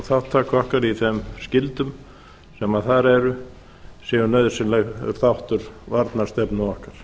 þátttaka okkar í þeim skyldum sem þar eru séu nauðsynlegur þáttur varnarstefnu okkar